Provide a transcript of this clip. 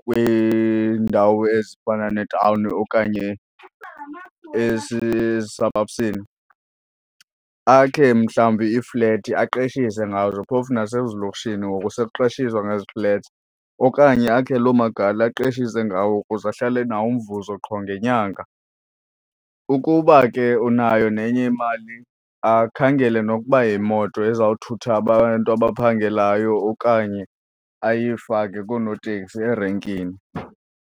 kwiindawo ezifana netawuni okanye esisabhabhsini, akhe mhlawumbi ii-flat aqeshise ngazo phofu nasezilokishini ngoku sokuqeshiswa ngezi flats. Okanye akhe loo magali aqeshise ngawo ukuze ahlale enawo umvuzo qho ngenyanga. Ukuba ke unayo nenye imali akhangele nokuba yimoto ezawuthutha abantu abaphangelayo okanye ayifake koonoteksi erenkini.